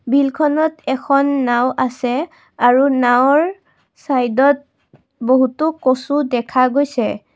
বিলখনত এখন নাওঁ আছে আৰু নাওঁৰ ছাইডত বহুতো কচু দেখা গৈছে।